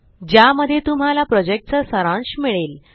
ज्यामध्ये तुम्हाला प्रॉजेक्टचा सारांश मिळेल